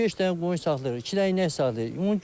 Beş dənə qoyun saxlayırıq, iki dənə inək saxlayırıq.